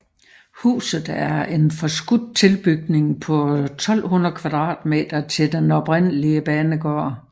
Huset er en forskudt tilbygning på 1200 m² til den oprindelige banegård